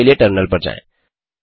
हल के लिए टर्मिनल पर जाएँ